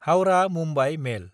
Howrah-Mumbai मेल